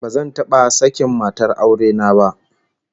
Bazan taba sakin matar aure na ba